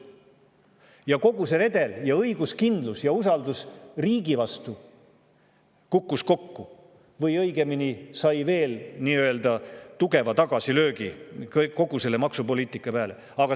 Ja kogu see redel ja õiguskindlus ja usaldus riigi vastu kukkus kokku või õigemini, sai veel tugeva tagasilöögi kogu selle maksupoliitika peale.